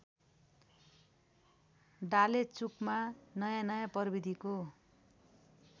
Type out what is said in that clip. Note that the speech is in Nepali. डालेचुकमा नयाँनयाँ प्रविधिको